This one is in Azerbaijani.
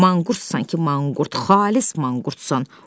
Manqurtsan ki, manqurt, xalis manqurtsan!